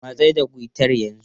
Matsar da guitar yanzu!